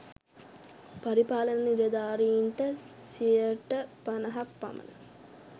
පරිපාලන නිළධාරීන්ට සියයට පණහක් පමණ